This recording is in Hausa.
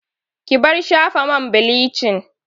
Ki bar shafa man bilicin!